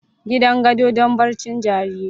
Gidan gado don barcin jariri.